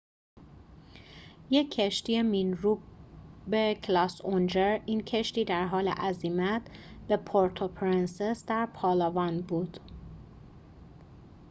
یک کشتی مین‌روب کلاس اونجر این کشتی در حال عزیمت به پورتوپرنسس در پالاوان بود